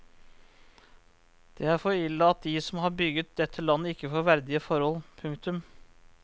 Det er for ille at de som har bygget dette landet ikke får verdige forhold. punktum